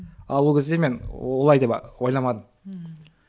ал ол кезде мен олай деп ойламадым ммм